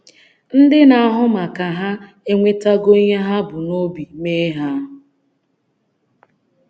Ndị na-ahụ maka hà enwetago ihe ha bu n’obi mee ha?